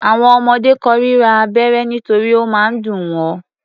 Àwọn ọmọdé kórira abẹ́rẹ́ nítorí ó máa ń dùn wọ́.